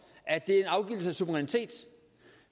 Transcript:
at det er en afgivelse af suverænitet